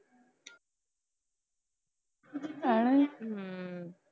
ਹਮ